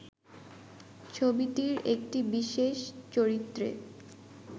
ছবিটির একটি বিশেষ চরিত্রে